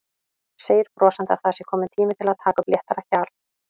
Segir brosandi að það sé kominn tími til að taka upp léttara hjal.